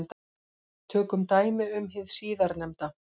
Tökum dæmi um hið síðarnefnda.